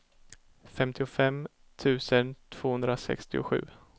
femtiofem tusen tvåhundrasextiosju